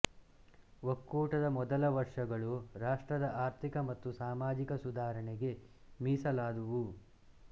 ಒಕ್ಕೂಟದ ಮೊದಲ ವರ್ಷಗಳು ರಾಷ್ಟ್ರದ ಆರ್ಥಿಕ ಮತ್ತು ಸಾಮಾಜಿಕ ಸುಧಾರಣೆಗೆ ಮೀಸಲಾದುವು